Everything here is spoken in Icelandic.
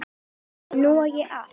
Nú á ég allt.